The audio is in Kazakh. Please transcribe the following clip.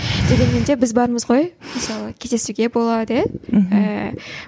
дегенмен де біз бармыз ғой мысалы кездесуге болады иә ііі